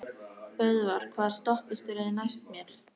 Böðvar, hvaða stoppistöð er næst mér?